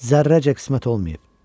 Zərrəcə qismət olmayıb.